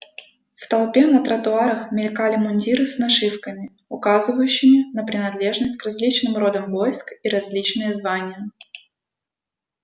в толпе на тротуарах мелькали мундиры с нашивками указывавшими на принадлежность к различным родам войск и различные звания